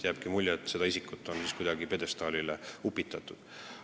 Jääbki mulje, et seda isikut on kuidagi pjedestaalile upitatud.